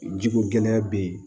Jiko gɛlɛya bɛ yen